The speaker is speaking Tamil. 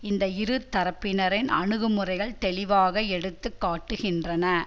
இந்த இருதரப்பினரின் அணுகு முறைகள் தெளிவாக எடுத்து காட்டுகின்றன